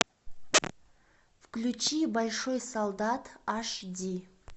включи большой солдат аш ди